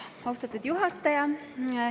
Austatud juhataja!